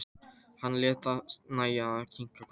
Hann lét sér nægja að kinka kolli.